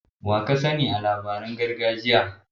Wa ka sani a labaran gargajiya?